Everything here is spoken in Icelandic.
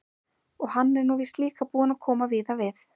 Og hann er nú víst líka búinn að koma víða við.